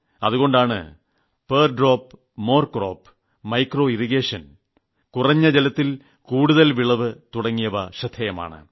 അതുകൊണ്ടാണ് per drop more crop micro irrigation ഓരോ തുള്ളിയിലും കൂടുതൽ വിളവ് സൂക്ഷ്മ ജലസേചനം തുടങ്ങിയവ ശ്രദ്ധേയമാണ്